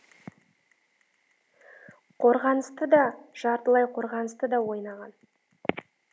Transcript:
қорғаныста да жартылай қорғаныста да ойнаған